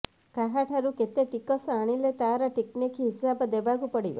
କାହାଠାରୁ କେତେ ଟିକସ ଆଣିଲେ ତାର ଟିକିନିକି ହିସାବ ଦେବାକୁ ପଡ଼ିବ